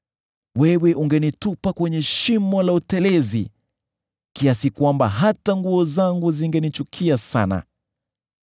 wewe ungenitupa kwenye shimo la utelezi kiasi kwamba hata nguo zangu zingenichukia sana.